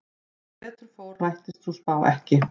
Sem betur fór rættist sú spá ekki.